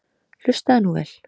Hlustaðu nú vel.